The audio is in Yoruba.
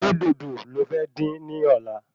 Ṣé dòdò lo fẹ́ dín ní ọ̀la?